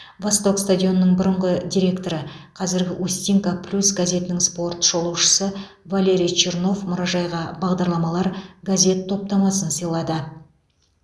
восток стадионының бұрынғы директоры қазіргі устинка плюс газетінің спорт шолушысы валерий чернов мұражайға бағдарламалар газет топтамасын сыйлады